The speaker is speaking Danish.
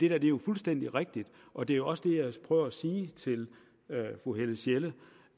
er jo fuldstændig rigtigt og det er også det jeg prøver at sige til fru helle sjelle